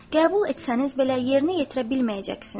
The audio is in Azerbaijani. Qəbul etsəniz belə, yerinə yetirə bilməyəcəksiniz.